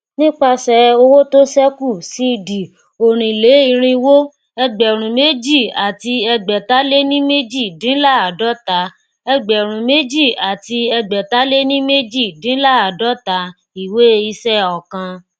nipasẹ owó to ṣẹku ọrinleirinwo ẹgbẹrúnméjìàtiẹgbẹtaléníméjìdínláàádọta ẹgbẹrúnméjìàtiẹgbẹtaléníméjìdínláàádọta ìwé iṣẹ ookan